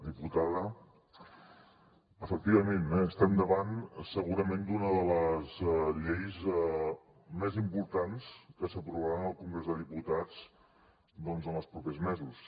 diputada efectivament eh estem davant segurament d’una de les lleis més importants que s’aprovaran al congrés de diputats doncs en els propers mesos